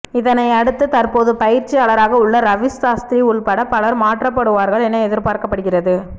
இதனை அடுத்து தற்போது பயிற்சியாளராக உள்ள ரவி சாஸ்திரி உள்பட பலர் மாற்றப்படுவார்கள் என எதிர்பார்க்கப்படுகிறது